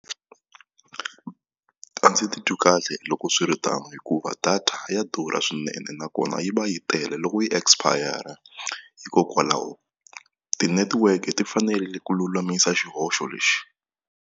A ndzi titwi kahle loko swi ri tano hikuva data ya durha swinene nakona yi va yi tele loko yi expire-a hikokwalaho tinetiweke ti fanele ku lulamisa xihoxo lexi.